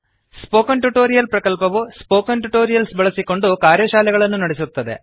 spoken tutorial ಪ್ರಕಲ್ಪವು spoken tutorials ಬಳಸಿಕೊಂಡು ಕಾರ್ಯಶಾಲೆಗಳನ್ನು ನಡೆಸುತ್ತದೆ